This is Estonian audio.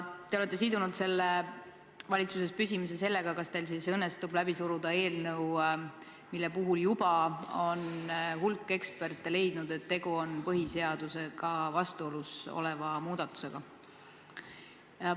Te olete sidunud valitsuses püsimise sellega, kas teil siis õnnestub läbi suruda eelnõu, mille puhul on hulk eksperte leidnud, et tegu on põhiseadusega vastuolus oleva muudatusega.